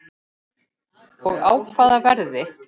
Og á hvaða verði?